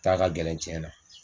taa ka gɛlɛn tiɲɛ na.